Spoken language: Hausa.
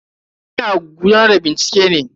Ina gudanar da bincike ne.